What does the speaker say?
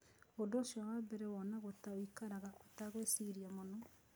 Ũndũ ũcio wa mbere wonagwo ta ũikaraga ũtegwĩciria mũno.